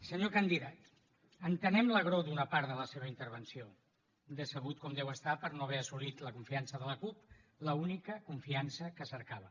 senyor candidat entenem l’agror d’una part de la seva intervenció decebut com deu estar per no haver assolit la confiança de la cup l’única confiança que cercava